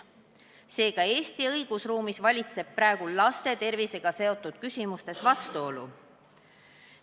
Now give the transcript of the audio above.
Seega valitseb Eesti õigusruumis praegu laste tervisega seotud küsimustes vastuolu.